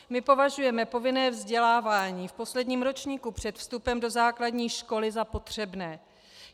My považujeme povinné vzdělávání v posledním ročníku před vstupem do základní školy za potřebné.